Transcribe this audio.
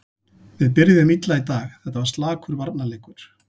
Við byrjuðum illa í dag, þetta var slakur varnarleikur.